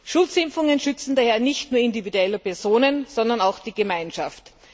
Schutzimpfungen schützen daher nicht nur individuelle Personen, sondern auch die Gemeinschaft.